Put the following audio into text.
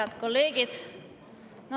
Head kolleegid!